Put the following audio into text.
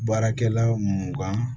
Baarakɛla mun kan